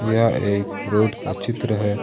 यह एक रोड का चित्र है।